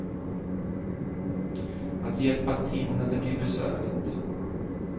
Att hjälpa till när det blir besvärligt.